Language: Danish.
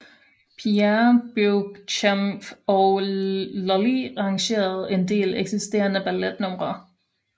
Pierre Beauchamp og Lully arrangerede en del eksisterende balletnumre